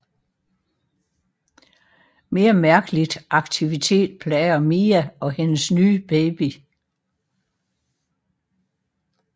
Mere mærkeligt aktivitet plager Mia og hendes nye baby